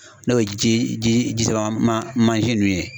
N'o ye ji ji jisama mansin ninnu ye.